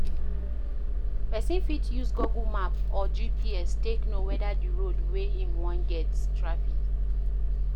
Person fit use google map or GPS take know weda di road wey im wan get traffic